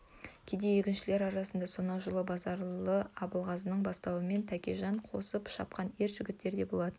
кедей егіншілер арасында сонау жылы базаралы абылғазының бастауымен тәкежан қосып шапқан ер жігіттер де болатын